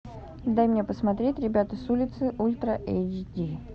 дай мне посмотреть ребята с улицы ультра эйч ди